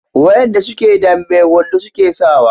wayanda suke dambe wando suke sawa